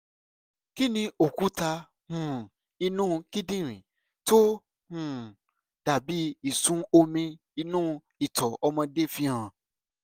kí ni òkúta um inú kíndìnrín tó um dà bí ìsun omi inú ìtọ̀ ọmọdé fi hàn?